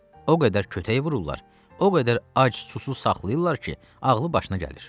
O qədər kötəy vururlar, o qədər ac susuz saxlayırlar ki, ağlı başına gəlir.